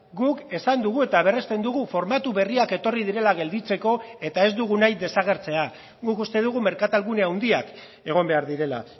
guk esan dugu eta berresten dugu formatu berriak etorri direla gelditzeko eta ez dugu nahi desagertzea guk uste dugu merkatal gune handiak egon behar direla